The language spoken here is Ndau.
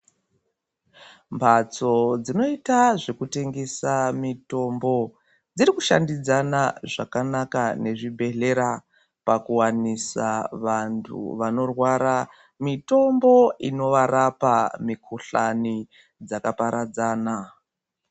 Mhatso dzinoita zvekutengesa mitombo dziri kushandidzana zvakanaka nezvibhedhlera pakuwanisa vanhu vanorwara mitombo inovarapa mikhuhlani dzakaparadzana.